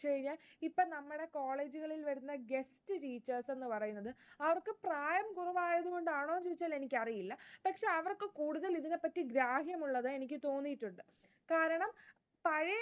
ഇപ്പോ നമ്മുടെ college കളിൽ വരുന്ന guest teachers എന്നു പറയുന്നത്, അവർക്ക് പ്രായം കുറവായതുകൊണ്ടാണോ എന്ന് ചോദിച്ചാൽ എനിക്കറിയില്ല. പക്ഷേ അവർക്ക് കൂടുതൽ ഇതിനെപ്പറ്റി ഗ്രാഹ്യം ഉള്ളത് എനിക്ക് തോന്നിയിട്ടുണ്ട്. കാരണം